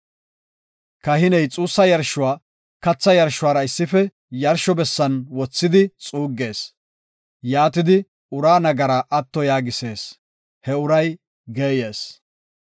Kahiney xuussa yarshuwa katha yarshuwara issife yarsho bessan wothidi xuuggees; yaatidi uraa nagaraa atto yaagisees; he uray geeyees.